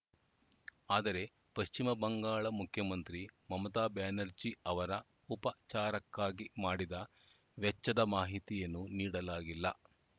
ಆದರೆ ಪಶ್ವಿಮ ಬಂಗಾಳ ಮುಖ್ಯಮಂತ್ರಿ ಮಮತಾ ಬ್ಯಾನರ್ಜಿ ಅವರ ಉಪಚಾರಕ್ಕಾಗಿ ಮಾಡಿದ ವೆಚ್ಚದ ಮಾಹಿತಿಯನ್ನು ನೀಡಲಾಗಿಲ್ಲ